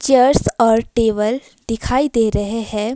Chairs और table दिखाई दे रहे हैं।